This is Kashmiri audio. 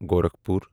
گورکھپوٗر